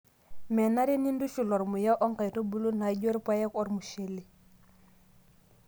menare nintushul ormuya o nkaitubulu naijo irpaek oo ormushele